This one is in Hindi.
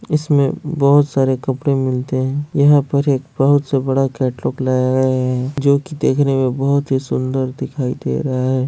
इसमे बहुत सारे कपड़े मिलते है यहाँ पे एक बहुत से बड़ा कैटलोग लगाए है जोकि देखने मे बहुत ही सुन्दर दिखाई दे रहा है।